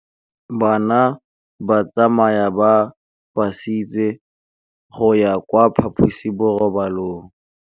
Bana ba tsamaya ka phašitshe go ya kwa phaposiborobalong.